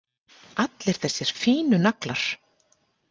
Allir þessir fínu naglar!